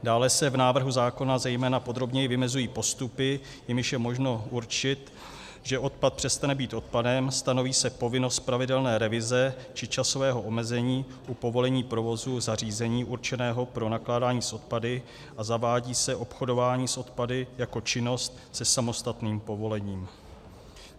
Dále se v návrhu zákona zejména podrobněji vymezují postupy, jimiž je možno určit, že odpad přestane být odpadem, stanoví se povinnost pravidelné revize či časového omezení u povolení provozu zařízení určeného pro nakládání s odpady a zavádí se obchodování s odpady jako činnost se samostatným povolením.